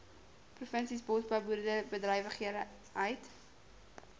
provinsies bosbou boerderybedrywighede